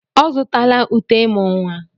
Ọ zụtala uté ịmụ́ nwa?